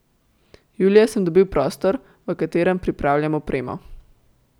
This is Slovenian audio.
Julija sem dobil prostor, v katerem pripravljam opremo.